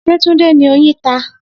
Se Tunde ni oyin ta?